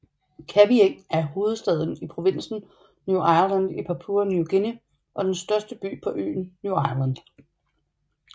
Kavieng er hovedstaden i provinsen New Ireland i Papua New Guinea og den største by på øen New Ireland